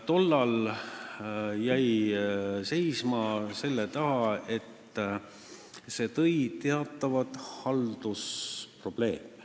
Tollal jäi asi seisma selle taha, et see tekitas teatavaid haldusprobleeme.